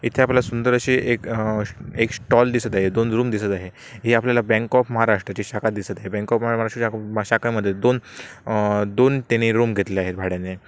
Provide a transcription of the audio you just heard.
इथे आपल्या सुंदर अशी एक अह एक स्टॉल दिसत आहे. दोन रूम दिसत आहे. ही आपल्याला बँक ऑफ महाराष्ट्र ची शाखा दिसत आहे. बँक ऑफ महाराष्ट्र च्या शाखामध्ये दोन अं- दोन तेनी रूम घेतलेले आहेत भाड्याने.